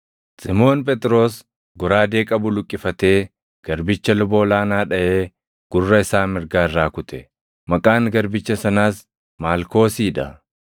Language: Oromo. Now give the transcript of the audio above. Simoon Phexros goraadee qabu luqqifatee garbicha luba ol aanaa dhaʼee gurra isaa mirgaa irraa kute. Maqaan garbicha sanaas Maalkoosii dha.